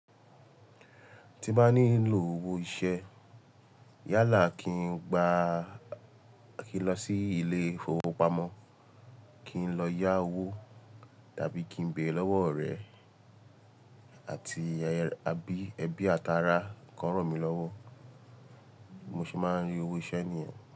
Tí bá ní lò owó iṣẹ́, yálà kí n gbá, kí n lọ sí ilé ìfowópamọ́, kí n lọ yá owó tàbí kí n bẹ̀rẹ lọ́wọ́ orẹ àti ẹbí, ẹbí, àtàrà kó ràn mí lọ́wọ́. Mo ṣì máa ń rí owó iṣẹ́ nìyẹn.